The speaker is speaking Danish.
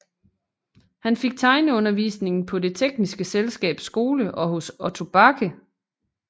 Han fik tegneundervisning på Det tekniske Selskabs Skole og hos Otto Bache